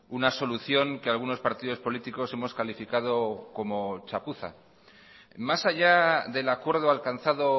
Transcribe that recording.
una solución que algunos partidos políticos hemos calificado como chapuza más allá del acuerdo alcanzado